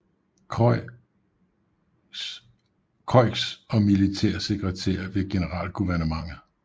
Croix og militær sekretær ved Generalguvernementet